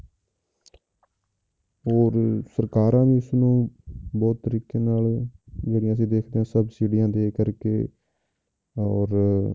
ਹੋਰ ਸਰਕਾਰਾਂ ਵੀ ਇਸਨੂੰ ਬਹੁਤ ਤਰੀਕੇ ਨਾਲ ਜਿਹੜੀਆਂ ਅਸੀਂ ਦੇਖਦੇ ਹਾਂ ਸਬਸੀਡੀਆਂ ਦੇ ਕਰਕੇ ਔਰ